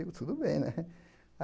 Digo, tudo bem, né?